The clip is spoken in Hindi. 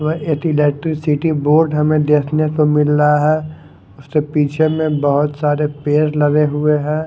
वह एक इलेक्ट्रीसिटी बोर्ड हमें देखने को मिल रहा है उसके पीछे में बहोत सारे पेड लगे हुए है।